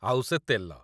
ଆଉ ସେ ତେଲ!